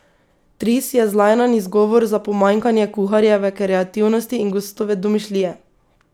Tris je zlajnan izgovor za pomanjkanje kuharjeve kreativnosti in gostove domišljije.